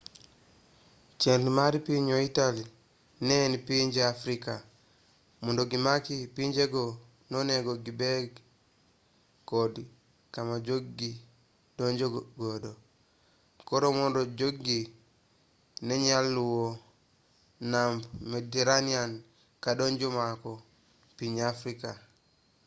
chenro mar piny italy ne en pinje afrika mondo gimak pinjego nonego gibed kod kama jog-gi donjogodo koro mondo jog-gi nenyal luwo namb mediterenian kadonjo mako piny afrika